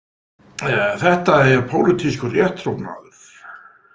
Þetta er pólitískur rétttrúnaður.